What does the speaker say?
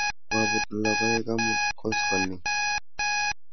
Kwaput logoek amut koskoling'